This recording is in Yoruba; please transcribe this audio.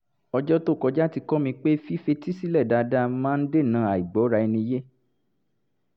ọjọ́ tó kọjá ti kọ́ mi pé fífetí sílẹ̀ dáadáa máa ń dènà àìgbọ́ra - ẹni - yé